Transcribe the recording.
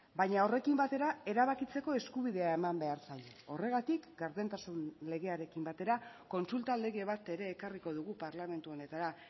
baina horrekin batera erabakitzeko eskubidea eman behar zaio horregatik gardentasun legearekin batera kontsulta lege bat ere ekarriko dugu parlamentu honetara